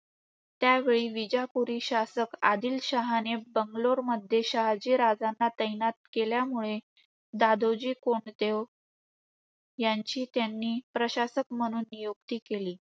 त्यावेळी विजापुरी शासक आदिलशहाने बंगलोरमध्ये शहाजीराजांना तैनात केल्यामुळे, दादोजी कोंडदेव ह्यांची त्यांनी प्रशासक म्हणून नियुक्ती केली.